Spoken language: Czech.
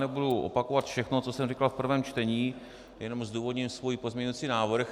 Nebudu opakovat všechno, co jsem říkal v prvém čtení, jenom zdůvodním svůj pozměňovací návrh.